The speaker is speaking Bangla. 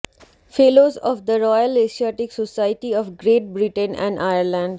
ফেলোস of the Royal Asiatic Society of Great Britain and Ireland